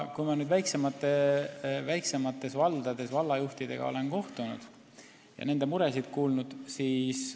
Ma olen väiksemates valdades vallajuhtidega kohtunud ja nende muresid kuulanud.